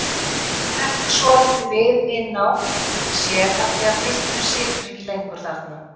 Hann hrekkur svolítið við inná sér af því pilturinn situr ekki lengur þarna.